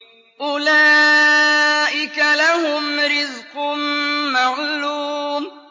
أُولَٰئِكَ لَهُمْ رِزْقٌ مَّعْلُومٌ